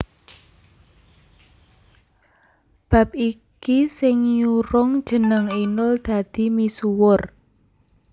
Bab iki sing nyurung jeneng Inul dadi misuwur